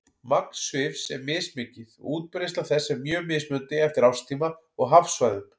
Magn svifs er mismikið og útbreiðsla þess er mjög mismunandi eftir árstíma og hafsvæðum.